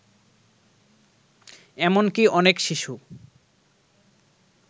এমনকী অনেক শিশু